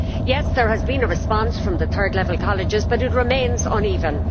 Yes, there has been a response from the third level colleges, but it remains uneven.